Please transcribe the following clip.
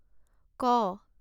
ক